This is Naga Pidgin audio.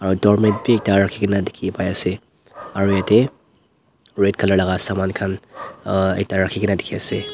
aro doormat bi ekta rakhikena dikhipaiase aro yatae red colour laka saman khan ekta rakhikae na dikhiase.